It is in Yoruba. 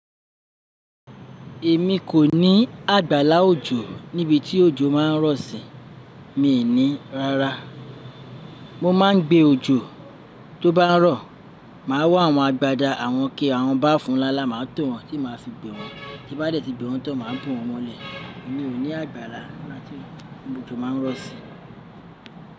Èmi kò ní àgbàlá òjò níbi tí òjò máa ń rọ̀ si, mi ní rárá. Mo máa ń gbé òjò tó bá ń rọ̀, màá wá àwọn agbada àwọn ike àwọn báfú nlánlá, màá tò wọn tì máa fi gbé wọn, tí bá dẹ́ ti gbé wọn tán, màá bo wọn mọ́lẹ̀. Èmi ò ní àgbàrá latí gbo òjò máa ń rọ̀ sí.